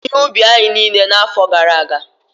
ụmụ ahụhụ bibiri ihe ubi anyị niile n'afọ gara aga